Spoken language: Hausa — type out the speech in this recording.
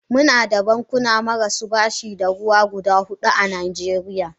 Muna da bankuna marasu bashi da ruwa guda hudu a najeriya.